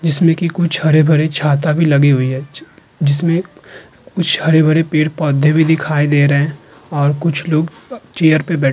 जिसमे की कुछ हरे-भरे छाता भी लगी हुई है। जिसमे कुछ हरे-भरे पेड़-पौधे भी दिखाई दे रहे हैं और कुछ लोग चेयर पे बैठ --